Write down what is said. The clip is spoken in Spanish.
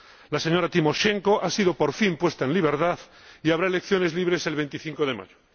La señora Timoshenko ha sido, por fin, puesta en libertad y habrá elecciones libres el 25 de mayo.